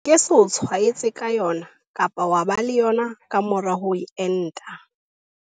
E ke se o tshwaetse ka yona kapa wa ba le yona ka mora ho enta.